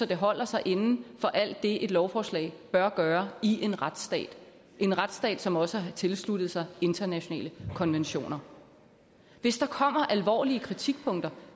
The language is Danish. det holder sig inden for alt det et lovforslag bør gøre i en retsstat en retsstat som også har tilsluttet sig internationale konventioner og hvis der kommer alvorlige kritikpunkter